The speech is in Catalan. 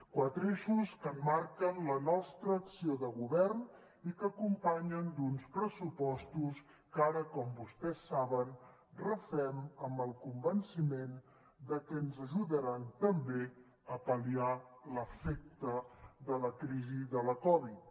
quatre eixos que emmarquen la nostra acció de govern i que acompanyen d’uns pressupostos que ara com vostès saben refem amb el convenciment de que ens ajudaran també a pal·liar l’efecte de la crisi de la covid